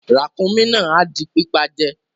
Ràkúnmí náà a di pípa je